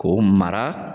K'o mara